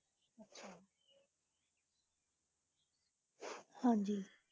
ਹਾਂਜੀ।